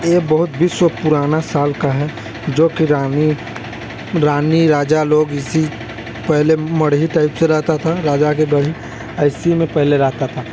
ये बहुत विश्व पुराना साल का है जो कि रानी रानी राजा लोग इसी पहले मड़ही टाइप से रहता था राजा के दडी और इसी में पहले रहता था--